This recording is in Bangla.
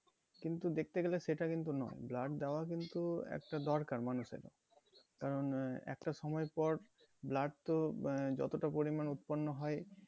কিন্তু দেখতে গেলে সেটা কিন্তু নয় blood দেওয়া কিন্তু একটা দরকার মানুষের কারণ আহ একটা সময় পর blood তো আহ যতটা পরিমাণে উৎপন্ন হয়